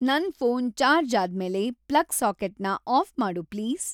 ನನ್‌ phone charge ಆದ್ಮೇಲೆ plug ಸಾಕೆಟ್ನ ಆಫ್‌ ಮಾಡು ಪ್ಲೀಸ್